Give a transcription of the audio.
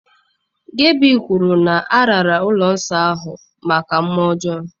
Gabi kwuru na a raara ụlọ nsọ ahụ maka mmụọ ọjọọ.